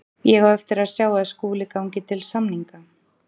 Ég á eftir að sjá að Skúli gangi til samninga.